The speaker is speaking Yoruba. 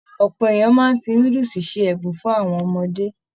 Ọpọ èèyàn máa n fí núdúsí ṣe ẹbùn fún àwọn ọmọdé.